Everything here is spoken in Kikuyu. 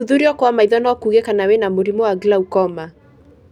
Gũthũthurio kwa maitho no kuuge kana wĩna mũrimo wa glaucoma.